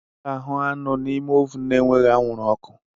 A ga-ahu anụ n'ime ovun na-enweghị anwụrụ ọkụ.